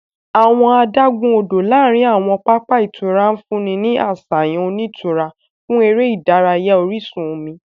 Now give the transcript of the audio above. Awọn adagun-odo láàrin awọn papa ìtura nfunni ni aṣayan onitura fún eré ìdárayá orísun omi.